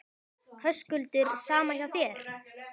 Höskuldur: Sama hjá þér?